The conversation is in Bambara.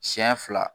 Siɲɛ fila